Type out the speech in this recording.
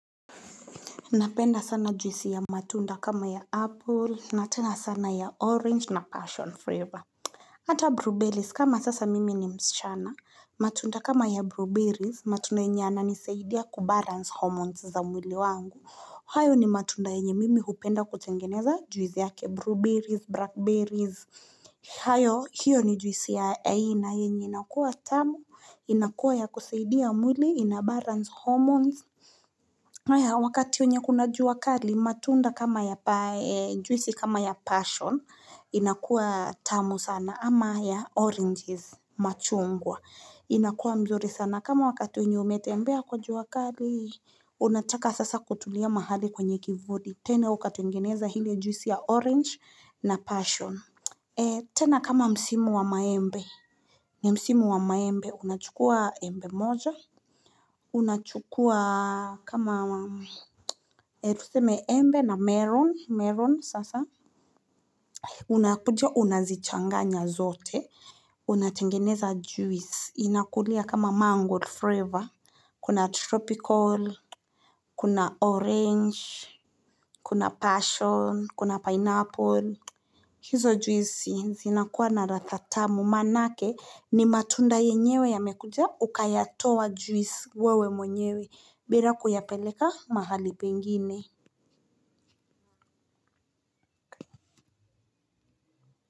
Napenda sana juisi ya matunda kama ya apple na tena sana ya orange na passion flava Ata blueberries kama sasa mimi ni msichana matunda kama ya blueberries matunda enye ananisaidia kubalance hormones za mwili wangu. Hayo ni matunda enye mimi hupenda kutengeneza juisi yake blueberries, blackberries hayo hiyo ni juisi ya aina yenye inakuwa tamu, inakuwa ya kusaidia mwili, inabalance hormones wakati wenye kuna juu wakali matunda kama ya pea juisi kama ya passion inakuwa tamu sana ama ya oranges machungwa inakuwa mzuri sana kama wakati wenye umetembea kwa jua kali unataka sasa kutulia mahali kwenye kivuli tena ukatengeneza hili juisi ya orange na passion, tena kama msimu wa maembe. Nia msimu wa maembe, unachukua embe moja. Unachukua kama tuseme embe na meron, melon sasa. Unakuja, unazichanganya zote. Unatengeneza juisi. Inakulia kama mango flava. Kuna tropical, kuna orange, kuna passion, kuna pineapple. Hizo juisi zinakuwa na ladhaa maanake ni matunda yenyewe yamekuja ukayatoa juisi wewe mwenyewe bila kuyapeleka mahali pengine.